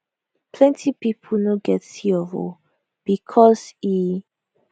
plenti pipo no get c of o becos e